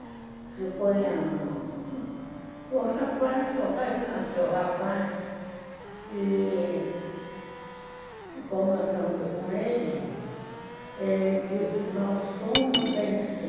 O rapaz, o papai que nasceu, o rapaz e... conversando com ele, ele disse, nós somos em si.